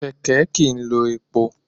Kẹ̀kẹ́ kìí lò epo